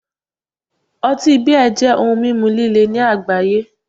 Otí 'Beer' jẹ́ ohun mímu líle ní àgbáyé